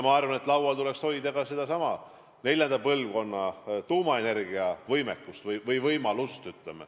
Ma arvan, et laual tuleks hoida ka sedasama neljanda põlvkonna tuumaenergia võimalust.